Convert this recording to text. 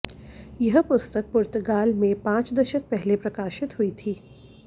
यह पुस्तक पुर्तगाल में पांच दशक पहले प्रकाशित हुई थी